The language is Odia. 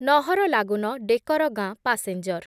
ନହରଲାଗୁନ ଡେକରଗାଁ ପାସେଞ୍ଜର୍